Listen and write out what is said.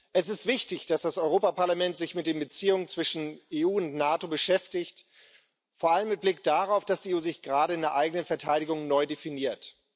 Es ist wichtig, dass das Europäische Parlament sich mit den Beziehungen zwischen EU und NATO beschäftigt, vor allem mit Blick darauf, dass die EU sich gerade in der eigenen Verteidigung neu definiert.